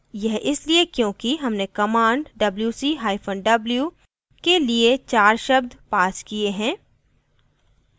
यह इसलिए क्योंकि हमने command wc hyphen w के लिए चार शब्द passed किये हैं